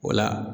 O la